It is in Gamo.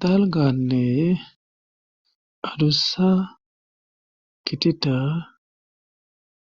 Talganne adussa kitita